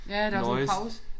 Ja der var sådan pause